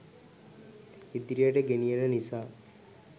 ඉදිරියට ගෙනියන නිසා